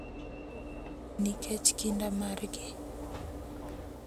Nikech kinda margi,